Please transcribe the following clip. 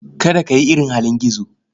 Kada ka yi irin halin gizo.